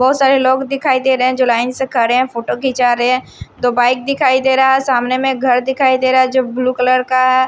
बहोत सारे लोग दिखाई दे रहे हैं जो लाइन से खरें है फोटो खींच रहे हैं दो बाइक दिखाई दे रहा है सामने में एक घर दिखाई दे रहा है जो ब्लू कलर का है।